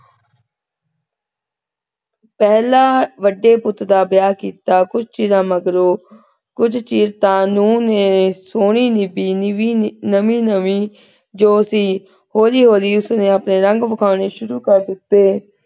ਪਹਿਲਾਂ ਵੱਡੇ ਪੁੱਤ ਦਾ ਵਿਆਹ ਕੀਤਾ ਕੁਜ ਚਿਰਾਂ ਮਗਰੋਂ। ਕੁਜ ਚਿਰ ਤਾਂ ਨੂਹ ਨੇ ਸੋਹਣੀ ਨਿਭੀ ਨਵੀ ਨਵੀ ਜੋ ਸੀ ਹੌਲੀ ਹੌਲੀ ਉਸਨੇ ਆਪਣੇ ਰੰਗ ਵਿਖਾਉਣੇ ਸ਼ੁਰੂ ਕਰ ਦਿੱਤੇ।